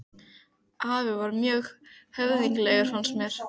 Afi var mjög höfðinglegur fannst mér.